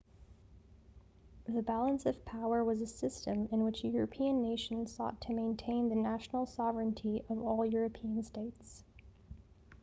the balance of power was a system in which european nations sought to maintain the national sovereignty of all european states